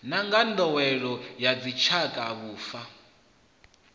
na nḓowelo ya dzitshakatshaka vhufa